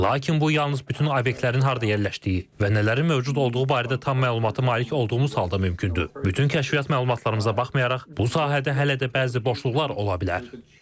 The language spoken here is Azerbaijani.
Lakin bu yalnız bütün obyektlərin harda yerləşdiyi və nələrin mövcud olduğu barədə tam məlumata malik olduğumuz halda mümkündür, bütün kəşfiyyat məlumatlarımıza baxmayaraq bu sahədə hələ də bəzi boşluqlar ola bilər.